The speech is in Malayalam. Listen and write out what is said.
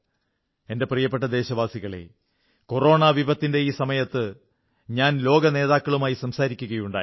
എന്റെ പ്രിയപ്പെട്ട ദേശവാസികളേ കൊറോണ വിപത്തിന്റെ ഈ സമയത്ത് ഞാൻ ലോകനേതാക്കളുമായി സംസാരിക്കുകയുണ്ടായി